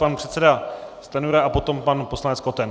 Pan předseda Stanjura a potom pan poslanec Koten.